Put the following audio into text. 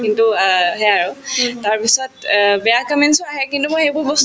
কিন্তু অ সেয়া আৰু তাৰপিছত অ বেয়া comments ও আহে কিন্তু মই সেইবোৰ বস্তু